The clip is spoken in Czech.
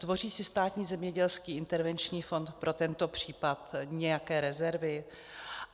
Tvoří si Státní zemědělský intervenční fond pro tento případ nějaké rezervy?